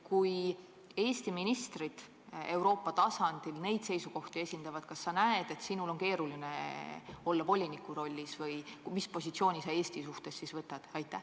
Kui Eesti ministrid Euroopa tasandil niisuguseid seisukohti esindavad, kas sul siis võiks olla voliniku rollis keeruline olla või mis positsiooni sa Eesti suhtes siis võtad?